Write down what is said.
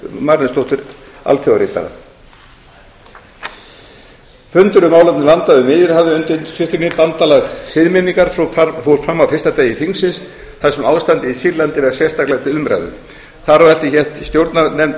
marinósdóttur alþjóðaritara fundur um málefni landa við miðjarðarhafið undir yfirskriftinni bandalag siðmenningar fór fram á fyrsta degi þingsins þar sem ástandið í sýrlandi var sérstaklega til umræðu þar á eftir hélt stjórnarnefnd